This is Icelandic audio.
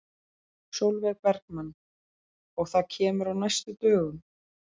Sólveig Bergmann: Og það kemur á næstu dögum?